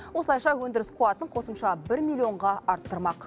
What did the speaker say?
осылайша өндіріс қуатын қосымша бір миллионға арттырмақ